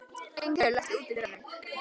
Lyngheiður, læstu útidyrunum.